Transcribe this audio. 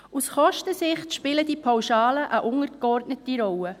Aus Kostensicht spielen die Pauschalen eine untergeordnete Rolle.